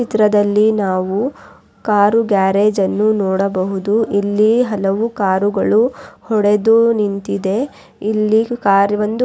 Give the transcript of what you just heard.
ಚಿತ್ರದಲ್ಲಿ ನಾವು car garage ಅನ್ನು ನೋಡಬಹುದು ಇಲ್ಲಿ ಹಲವು ಕಾರುಗಳು ಹೊಡೆದು ನಿಂತಿದೆ ಇಲ್ಲಿ ಕಾರ್ ಒಂದು--